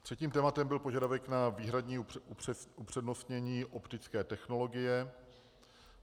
Třetím tématem byl požadavek na výhradní upřednostnění optické technologie.